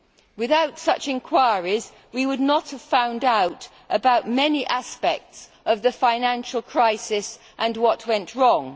Without such inquiries we would not have found out about many aspects of the financial crisis and what went wrong.